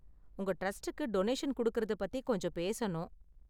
உங்க டிரஸ்டுக்கு டொனேஷன் குடுக்குறது பத்தி கொஞ்ச பேசணும்.